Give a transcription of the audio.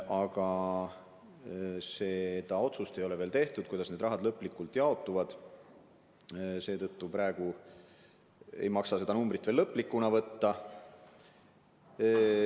Aga seda otsust, kuidas need rahad lõplikult jaotuvad, ei ole veel tehtud ja seetõttu praegu ei maksa seda numbrit veel lõplikuna võtta.